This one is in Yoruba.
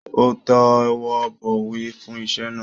Ó tẹwọ́bọ̀wé fún iṣẹ́ náà.